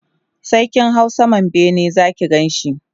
sai kin hau saman bene Zaki Ganshi